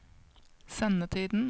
sendetiden